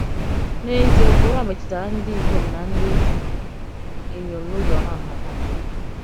N’ezie, ụkpụrụ a metụtara ndị ikom na ndị inyom n’ụzọ hà nhata nha.